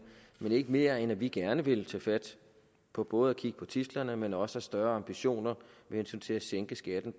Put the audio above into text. men ikke mere end at vi gerne vil tage fat på på at kigge på tidslerne men også har større ambitioner med hensyn til at sænke skatten